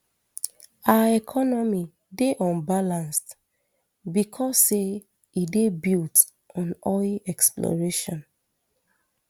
our economy dey unbalanced becos say e dey built on oil exploration